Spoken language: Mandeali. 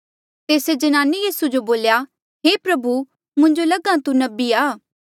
तेस्से ज्नाने यीसू जो बोल्या हे प्रभु मुंजो लग्हा कि तू नबी आ